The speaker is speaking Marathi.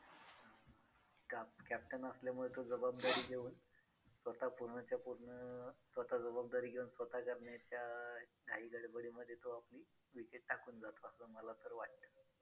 captain असल्यामुळं तो जबाबदारी घेऊन स्वतः पूर्णच्या पूर्ण स्वतः जबाबदारी घेऊन स्वतः करण्याच्या घाई गडबडीमध्ये तो आपली wicket टाकून जात असल मला तर वाटतं